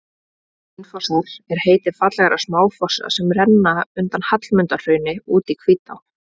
Hraunfossar er heiti fallegra smáfossa sem renna undan Hallmundarhrauni út í Hvítá.